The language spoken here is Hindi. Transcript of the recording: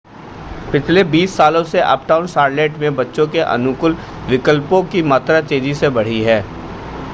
पिछले 20 सालों से अपटाउन शॉर्लेट में बच्चे के अनुकूल विकल्पों की मात्रा तेज़ी से बढ़ी है